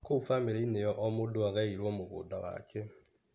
Kũu bamĩrĩinĩ ĩyo o mũndũ agaĩrwo mũgũnda wake.